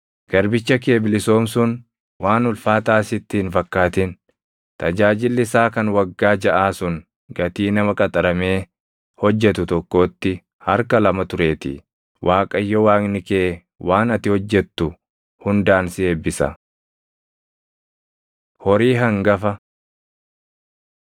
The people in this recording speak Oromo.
Garbicha kee bilisoomsuun waan ulfaataa sitti hin fakkaatin; tajaajilli isaa kan waggaa jaʼaa sun gatii nama qaxaramee hojjetu tokkootti harka lama tureetii. Waaqayyo Waaqni kee waan ati hojjetu hundaan si eebbisa. Horii Hangafa